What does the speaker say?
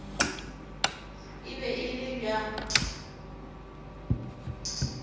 e be e le bja